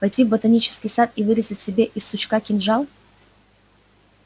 пойти в ботанический сад и вырезать себе из сучка кинжал